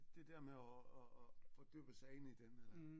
Det der med at at fordybe sig ind i den eller